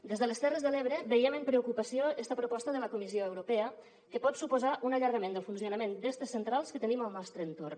des de les terres de l’ebre veiem amb preocupació esta proposta de la comissió europea que pot suposar un allargament del funcionament d’aquestes centrals que tenim al nostre entorn